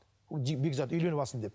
бекзат үйленіп алсын деп